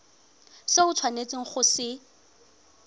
se o tshwanetseng go se